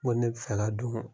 ne bɛ fɛ ka don